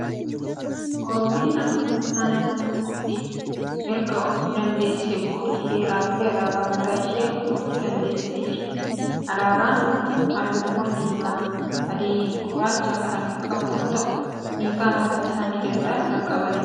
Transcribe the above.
Oromiyaan akka mootummaa naannoo tokkootti ergaof dandeessee booda heeraa fi alaabaa mataa ishii uummachuu dandeessee jirti. Alaabaan kun halluuwwan diimaa, adii fi gurraacha kan qabu yoo ta'u, hiikaa mataa isaanii danda'an qabu.